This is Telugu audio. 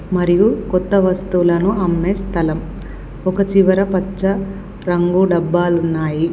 మరియు కొత్త వస్తువులను అమ్మే స్థలం. ఒక చివర పచ్చ రంగు డబ్బాలున్నాయి.